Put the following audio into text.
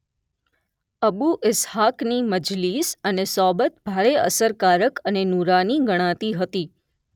અબૂ ઇસ્હાકની મજલિસ અને સોબત ભારે અસરકારક અને નૂરાની ગણાતી હતી